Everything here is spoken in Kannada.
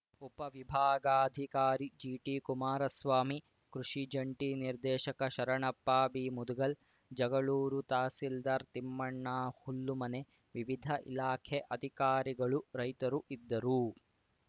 ಉಪ ವಿಭಾಗಾಧಿಕಾರಿ ಬಿಟಿಕುಮಾರಸ್ವಾಮಿ ಕೃಷಿ ಜಂಟಿ ನಿರ್ದೇಶಕ ಶರಣಪ್ಪ ಬಿಮುದಗಲ್‌ ಜಗಳೂರು ತಹಸೀಲ್ದಾರ್‌ ತಿಮ್ಮಣ್ಣ ಹುಲ್ಲುಮನೆ ವಿವಿಧ ಇಲಾಖೆ ಅಧಿಕಾರಿಗಳು ರೈತರು ಇದ್ದರು